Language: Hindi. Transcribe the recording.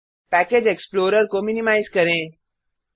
पैकेज एक्स्प्लोरर को मिनिमाइज करें